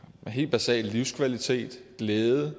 helt basal livskvalitet og glæde